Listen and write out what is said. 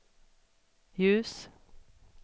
ljus